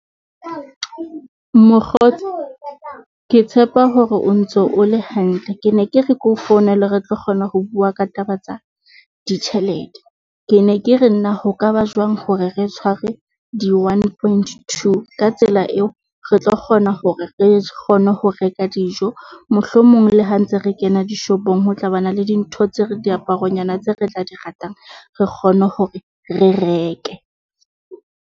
Mokgotsi ke tshepa hore o ntso o le hantle. Ke ne ke re ke o founele re tlo kgona ho bua ka taba tsa ditjhelete. Ke ne ke re nna ho ka ba jwang hore re tshware di-one point two. Ka tsela eo, re tlo kgona hore re kgone ho reka dijo mohlomong le ha ntse re kena dishopong, ho tlabana le dintho tse re diaparo nyana tse re tla di ratang. Re kgone hore re reke.